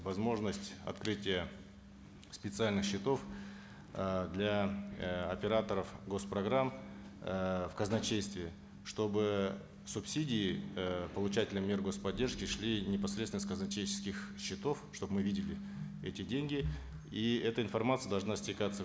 возможность открытия специальных счетов э для э операторов гос программ э в казначействе чтобы субсидии э получатели мер гос поддержки шли непосредственно с казначейческих счетов чтобы мы видели эти деньги и эта информация должна стекаться